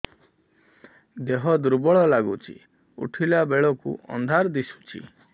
ଦେହ ଦୁର୍ବଳ ଲାଗୁଛି ଉଠିଲା ବେଳକୁ ଅନ୍ଧାର ଦିଶୁଚି